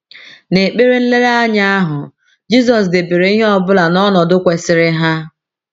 N’ekpere nlereanya ahụ, Jizọs debere ihe ọ bụla n’ọnọdụ kwesịrị ha.